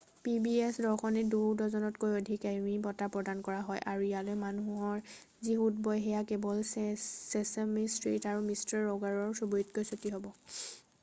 pbs দৰ্শনীত 2 ডজনতকৈ অধিক এমি বঁটা প্ৰদান কৰা হয় আৰু ইয়ালৈ মানুহৰ যি সোঁত বয় সেয়া কেৱল চেচেমি ষ্ট্ৰিট আৰু মিষ্টাৰ ৰ'গাৰৰ চুবুৰীতকৈ চুটি হ'ব